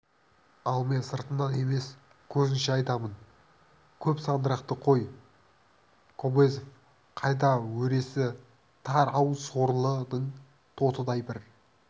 ал мен сыртыңнан емес көзіңше айтамын көп сандырақты қой кобозев қайда өресі тар-ау сорлының тотыдай бір